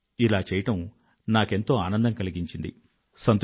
ఇలా చెయ్యడం నాకెంతో ఆనందం కలిగించింది అని రాశారు